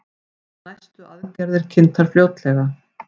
Næstu aðgerðir kynntar fljótlega